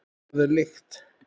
Hvað er lykt?